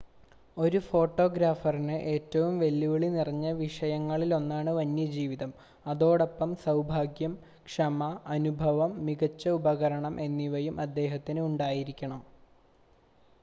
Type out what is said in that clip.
ഒരു ഫോട്ടോഗ്രാഫറിന് ഏറ്റവും വെല്ലുവിളി നിറഞ്ഞ വിഷയങ്ങളിലൊന്നാണ് വന്യജീവിതം അതോടൊപ്പം സൗഭാഗ്യം ക്ഷമ അനുഭവം മികച്ച ഉപകരണം എന്നിവയും അദ്ദേഹത്തിന് ഉണ്ടായിരിക്കണം